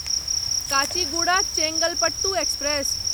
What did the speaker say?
Kachiguda Chengalpattu express